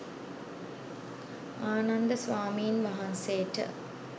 ආනන්ද ස්වාමීන් වහන්සේට